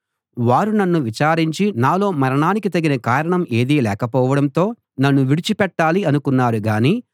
వారు నన్ను విచారించి నాలో మరణానికి తగిన కారణం ఏదీ లేకపోవడంతో నన్ను విడిచిపెట్టాలి అనుకున్నారు గాని